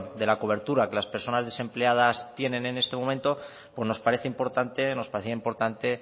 de la cobertura que las personas desempleadas tienen en este momentos nos parece importante nos parecía importante